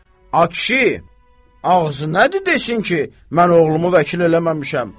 A kişi, ağzı nədir desin ki, mən oğlumu vəkil eləməmişəm.